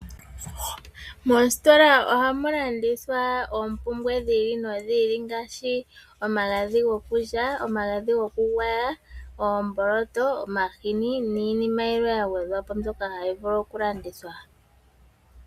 Moositola ohamu landithwa oompumbwe dhi ili nodhi ili ngaashi omagadhi gokulya, omagadhi gokugwaya, oomboloto, omahini niinima yilwe yagwedhwa po mbyono hayi vulu okulandithwa.